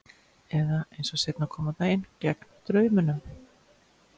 Eða, eins og seinna kom á daginn, gegn draumunum.